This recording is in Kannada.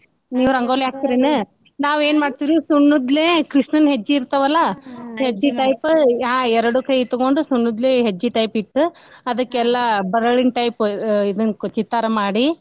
ನೀವ್ ರಂಗೋಲಿ ಹಾಕ್ತಿರನು? ನಾವೆನ್ ಮಾಡ್ತಿವ್ ರೀ ಸುಣ್ಣದ್ಲೆ ಕೃಷ್ಣನ್ ಹೆಜ್ಜಿ ಇರ್ತವಲ್ಲ ಹೆಜ್ಜಿ type ಎರಡೂ ಕೈ ತಗೊಂಡು ಸುಣ್ಣದ್ಲೇ ಹೆಜ್ಜಿ type ಇಟ್ಟ್ ಅದಕ್ಕೆಲ್ಲಾ ಬರಳಿನ type ಇದನ್ ಚಿತ್ತಾರ ಮಾಡಿ.